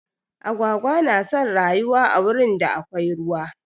Agwagwa na son rayuwa a wurin da akwai ruwa.